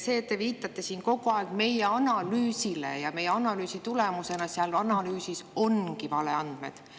Te viitate siin kogu aeg "meie analüüsile", aga selle "meie analüüsi" tulemusena seal ongi valeandmed.